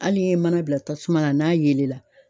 Hali n'i ye mana bila tasuma na n'a yelen la